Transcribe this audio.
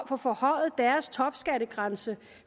få forhøjet deres topskattegrænse